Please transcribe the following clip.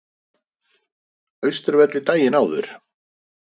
Austurvelli daginn áður.